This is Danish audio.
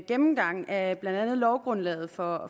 gennemgang af blandt andet lovgrundlaget for